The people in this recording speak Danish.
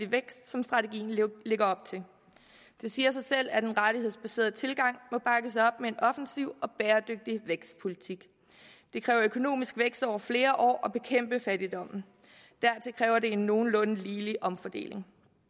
vækst som strategien lægger op til det siger sig selv at en rettighedsbaseret tilgang må bakkes op af en offensiv og bæredygtig vækstpolitik det kræver økonomisk vækst over flere år at bekæmpe fattigdommen dertil kræver det en nogenlunde ligelig omfordeling